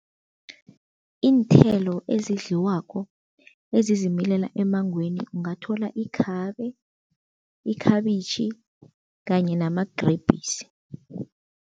Iinthelo ezidliwako ezizimilela emmangweni ungathola ikhabe, ikhabitjhi kanye namagrebhisi.